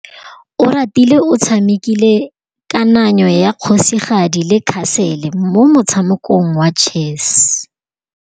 Oratile o tshamekile kananyô ya kgosigadi le khasêlê mo motshamekong wa chess.